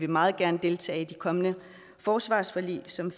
meget gerne deltage i det kommende forsvarsforlig som